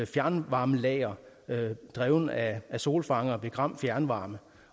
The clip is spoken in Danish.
fjernvarmelager drevet af solfangere ved gram fjernvarme